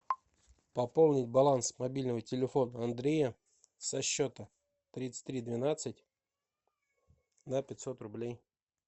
пополнить баланс мобильного телефона андрея со счета тридцать три двенадцать на пятьсот рублей